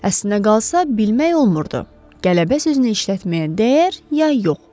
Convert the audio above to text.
Əslinə qalsa, bilmək olmurdu qələbə sözünü işlətməyə dəyər ya yox.